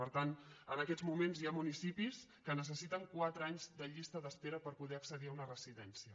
per tant en aquests moments hi ha municipis que necessiten quatre anys de llista d’espera per poder accedir a una residència